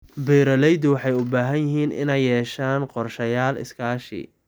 Beeralayda waxay u baahan yihiin inay yeeshaan qorshayaal iskaashi.